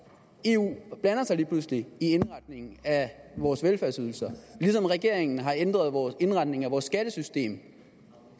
lige pludselig i indretningen af vores velfærdsydelser lige som regeringen har ændret indretningen af vores skattesystem